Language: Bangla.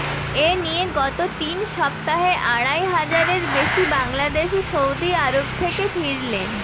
এ নিয়ে গত তিন সপ্তাহে আড়াই হাজারের বেশি বাংলাদেশি সৌদি আরব থেকে ফিরলেন